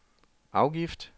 afgift